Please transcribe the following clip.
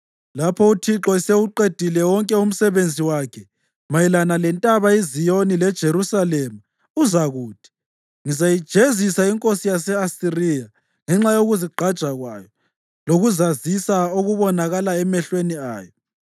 Lapho uThixo esewuqedile wonke umsebenzi wakhe mayelana lentaba iZiyoni leJerusalema uzakuthi, “Ngizayijezisa inkosi yase-Asiriya ngenxa yokuzigqaja kwayo lokuzazisa okubonakala emehlweni ayo.”